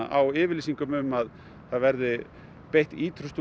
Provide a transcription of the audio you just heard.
á yfirlýsingum um að það verði beitt ýtrustu